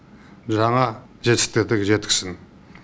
жаңа жетістіктерге жеткізсін